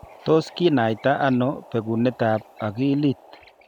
Tos kinaita ano bekunetab akilit?